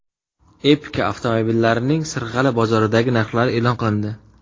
Epica avtomobillarining Sirg‘ali bozoridagi narxlari e’lon qilindi.